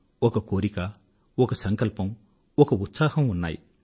ఒక కోరిక ఒక సంకల్పం ఒక ఉత్సాహం ఉన్నాయి